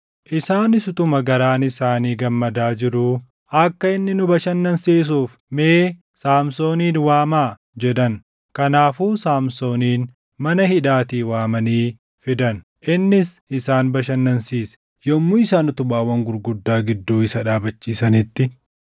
Isaanis utuma garaan isaanii gammadaa jiruu, “Akka inni nu bashannansiisuuf mee Saamsoonin waamaa” jedhan. Kanaafuu Saamsoonin mana hidhaatii waamanii fidan; innis isaan bashannansiise. Yommuu isaan utubaawwan gurguddaa gidduu isa dhaabachiisanitti,